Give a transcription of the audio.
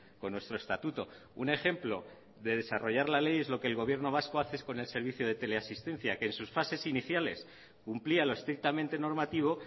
con nuestro estatuto un ejemplo de desarrollar la ley es lo que el gobierno vasco hace con el servicio de teleasistencia que en sus fases iniciales cumplía lo estrictamente normativo